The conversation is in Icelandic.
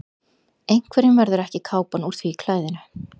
Einhverjum verður ekki kápan úr því klæðinu